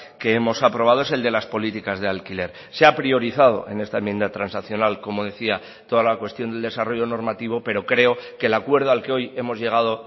que hemos aprobado es el de las políticas de alquiler se ha priorizado en esta enmienda transaccional como decía toda la cuestión del desarrollo normativo pero creo que el acuerdo al que hoy hemos llegado